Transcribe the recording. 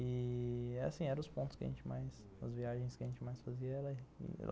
E... assim, eram os pontos que a gente mais, as viagens que a gente mais fazia.